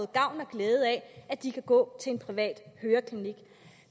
gavn og glæde af at de kan gå til en privat høreklinik